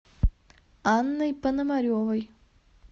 анной пономаревой